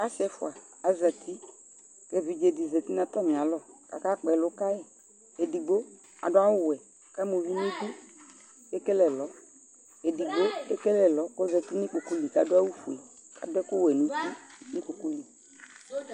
Asɩ ɛfʋa azati kʋ evidze dɩ zati nʋ atamɩalɔ kʋ akakpɔ ɛlʋ ka yɩ Edigbo adʋ awʋwɛ kʋ ama uvi nʋ idu kʋ ekele ɛlɔ Edigbo ekele ɛlɔ kʋ ɔzati nʋ ikpoku li Adʋ awʋfue kʋ adʋ ɛkʋwɛ nʋ uti nʋ ikpoku li